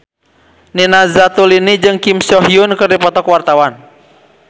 Nina Zatulini jeung Kim So Hyun keur dipoto ku wartawan